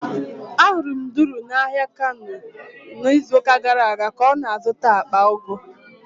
Ahụrụ m Duru n'ahịa Kano n'izuụka gara aga ka ọ na-azụta akpa ugu.